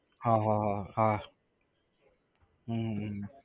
હા હા હા હા હમ હમ હમ